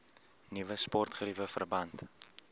nuwe sportgeriewe verband